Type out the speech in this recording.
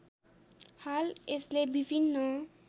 हाल यसले विभिन्न